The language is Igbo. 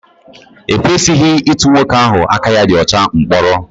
E kwesịghị ịtụ nwoke ahụ aka ya dị ọcha mkpọrọ